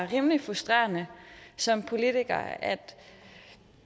rimelig frustrerende som politiker